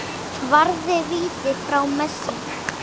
Varði víti frá Messi.